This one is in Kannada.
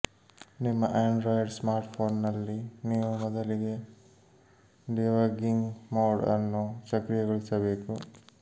ನಿಮ್ಮ ಆಂಡ್ರಾಯ್ಡ್ ಸ್ಮಾರ್ಟ್ಫೋನ್ನಲ್ಲಿ ನೀವು ಮೊದಲಿಗೆ ಡೀಬಗ್ಗಿಂಗ್ ಮೋಡ್ ಅನ್ನು ಸಕ್ರಿಯಗೊಳಿಸಬೇಕು